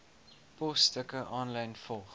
posstukke aanlyn volg